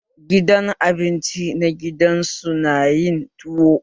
Gidan abinci na gida su na yin tuwo?